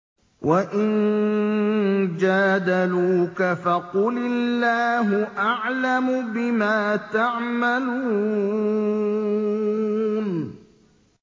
وَإِن جَادَلُوكَ فَقُلِ اللَّهُ أَعْلَمُ بِمَا تَعْمَلُونَ